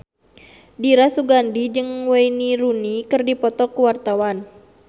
Dira Sugandi jeung Wayne Rooney keur dipoto ku wartawan